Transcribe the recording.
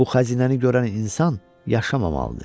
Bu xəzinəni görən insan yaşamamalıdır.